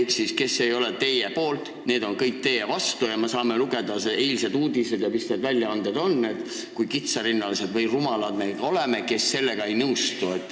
Ehk siis nii, et kes ei ole teie poolt, on kõik teie vastu ja me saame mitmesuguste väljaannete uudistest lugeda, kui kitsarinnalised või rumalad me oleme, et sellega ei nõustu.